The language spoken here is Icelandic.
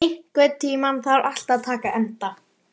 Bryntýr, einhvern tímann þarf allt að taka enda.